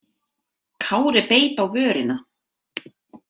Kári beit á vörina.